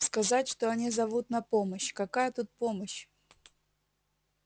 сказать что они зовут на помощь какая тут помощь